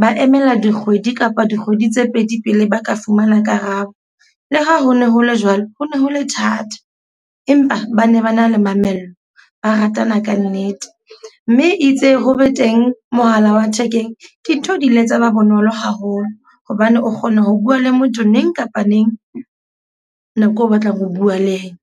Ba emela dikgwedi kapa dikgwedi tse pedi pele ba ka fumana karabo. Le ha ho ne ho le jwalo, ho ne ho le thata, empa ba ne ba na le mamello. Ba ratana ka nnete mme itse ho be teng mohala wa thekeng dintho di ile tsa ba bonolo haholo. Hobane o kgona ho bua le motho neng kapa neng nako eo o batlang ho bua le ena.